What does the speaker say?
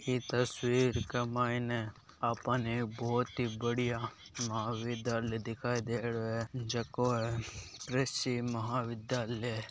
ई तस्वीर के मायने आपाने ऐ बहोत ही बढ़िया महाविधालय दिखाई दे रहो है जको ऐ कृषि महाविद्यालय।